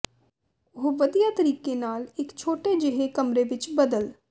ਉਹ ਵਧੀਆ ਤਰੀਕੇ ਨਾਲ ਇਕ ਛੋਟੇ ਜਿਹੇ ਕਮਰੇ ਵਿਚ ਬਦਲ